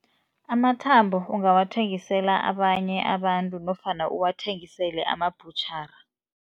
Amathambo ungawathengisela abanye abantu nofana uwathengisele amabhutjhara.